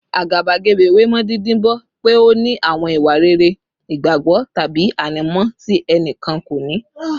Àgàbàgebè wé mọ́ dídibọ́n pé ó ní àwọn ìwà rere, ìgbàgbọ́, tàbí ànímọ́ tí ẹnì kan kò ní